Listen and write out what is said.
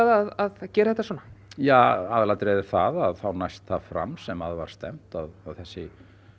að gera þetta svona ja aðalatriðið er það að þá næst það fram sem að var stefnt að þessi